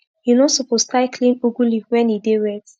u no suppose tie clean ugu leaf when e dey wet